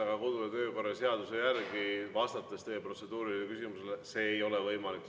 Aga kodu- ja töökorra seaduse järgi, vastates teie protseduurilisele küsimusele, see ei ole võimalik.